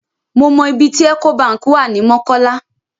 Mo mọ ibi tí Ecobank wà ní Mọ́kọ́lá.